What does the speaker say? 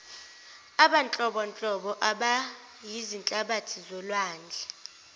abanhlobonhlobo abayizihlabathi zolwandle